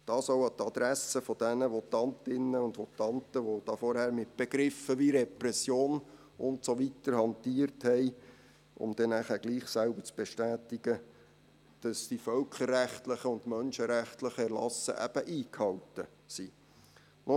Das richte ich auch an die Adresse der Votantinnen und Votanten, die vorhin mit Begriffen wie Repression und so weiter hantiert haben, um dann doch selbst zu bestätigen, dass die völkerrechtlichen und menschenrechtlichen Erlasse eben eingehalten werden.